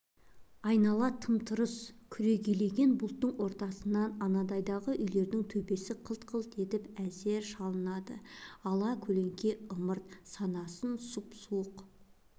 айнала тым-тырс күрегейлеген бұтаның ортасынан анандайдағы үйлердің төбесі қылт-қылт етіп әзер шалынады ала-көлеңке ымырт санасын сұп-суық